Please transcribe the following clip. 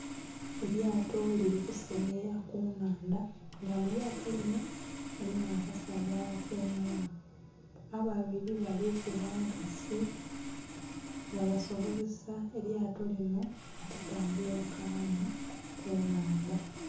Elyato lili kuseyeya ku nhandha nga mu lyato linho mulimu abasaadha aba tyaimemu, ababiri bali kuba nkasi nga basobozesa elyato linho okutambula obukalamu ku nhandha.